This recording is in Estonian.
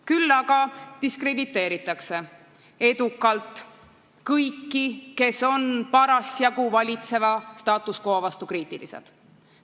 Küll aga diskrediteeritakse edukalt kõiki, kes on parasjagu valitseva status quo vastu kriitilised.